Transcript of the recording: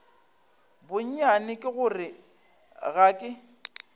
bonnyane ke gore ga ke